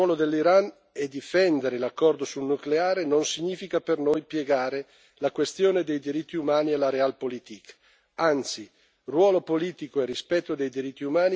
Tuttavia, ecco il punto riconoscere il ruolo dell'Iran e difendere l'accordo sul nucleare non significa per noi piegare la questione dei diritti umani alla realpolitik, anzi.